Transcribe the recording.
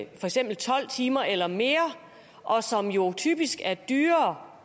eksempel tolv timer eller mere og som jo typisk er dyrere